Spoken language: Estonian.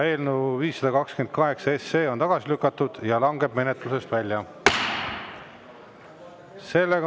Eelnõu 528 on tagasi lükatud ja langeb menetlusest välja.